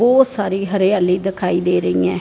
बहोत सारी हरियाली दिखाई दे रही है।